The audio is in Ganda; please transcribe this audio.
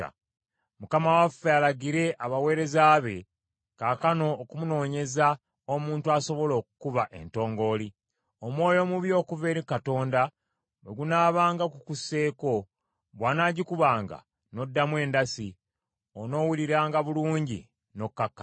Mukama waffe alagire abaweereza be kaakano okumunoonyeza omuntu asobola okukuba entongooli. Omwoyo omubi okuva eri Katonda bwe gunaabanga gukusseeko, bw’anagikubanga n’oddamu endasi, onoowuliranga bulungi n’okkakkana.”